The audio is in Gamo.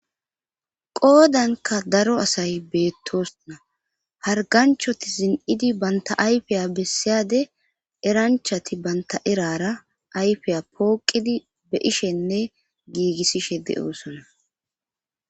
Qoodanka daro asay beettosona harganchoti zin"idi banta ayfiya bessiyade eranchati banta erara ayfiya pooqidi be ishenne giigissishe deoosona